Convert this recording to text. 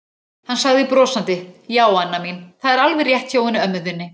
Hann sagði brosandi: Já, Anna mín, það er alveg rétt hjá henni ömmu þinni.